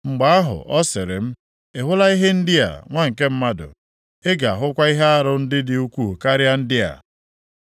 Mgbe ahụ, ọ sịrị m, “Ị hụla ihe ndị a, nwa nke mmadụ? Ị ga-ahụkwa ihe arụ ndị dị ukwuu karịa ndị a.”